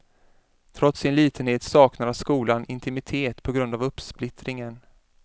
Trots sin litenhet saknar skolan intimitet på grund av uppsplittringen.